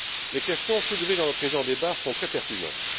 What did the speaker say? Les questions soulevées dans le présent débat sont très pertinentes.